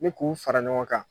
Ni k'u fara ɲɔgɔn kan.